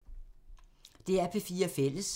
DR P4 Fælles